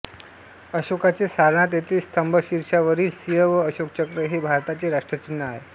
अशोकाचे सारनाथ येथील स्तंभशीर्षावरील सिंह व अशोकचक्र हे भारताचे राष्ट्रचिन्ह आहे